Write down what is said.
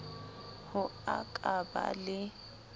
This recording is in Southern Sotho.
ho a ka ba le